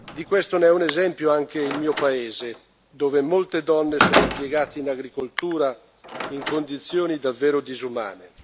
Di questo è un esempio anche il mio paese, dove molte donne sono impiegate in agricoltura in condizioni davvero disumane.